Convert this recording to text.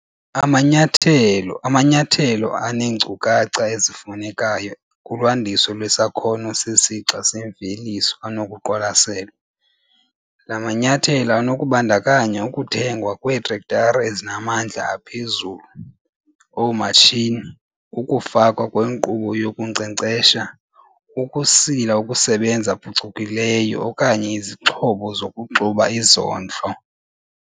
Amanyathelo amanyathelo aneenkcukacha ezifunekayo kulwandiso lwesakhono sesixa semveliso anokuqwalaselwa. La manyathelo anokubandakanya ukuthengwa kweetrektara ezinamandla aphezulu, oomatshini, ukufakwa kwenkqubo yokunkcenkcesha, ukusila okusebenza phucukileyo okanye izixhobo zokuxuba izondlo.